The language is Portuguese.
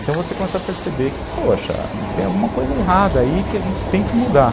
Então você começa a perceber que, poxa, tem alguma coisa errada aí que a gente tem que mudar.